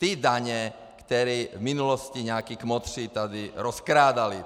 Ty daně, které v minulosti nějací kmotři tady rozkrádali.